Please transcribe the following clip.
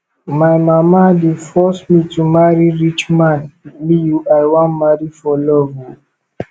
my mama dey force me to marry rich man me i wan marry for love o